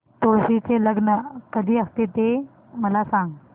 तुळशी चे लग्न कधी असते ते मला सांग